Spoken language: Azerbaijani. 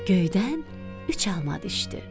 Göydən üç alma düşdü.